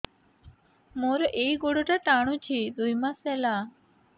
ମୋର ଏଇ ଗୋଡ଼ଟା ଟାଣୁଛି ଦୁଇ ମାସ ହେଲା